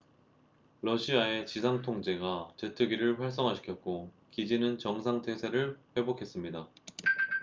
러시아의 지상 통제가 제트기를 활성화시켰고 기지는 정상 태세를 회복했습니다